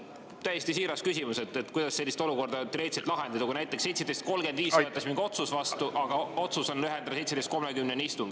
Mul on täiesti siiras küsimus: kuidas sellist olukorda lahendada, kui näiteks 17.35 võetakse mingi otsus vastu, aga otsus on lühendada istungit 17.30-ni?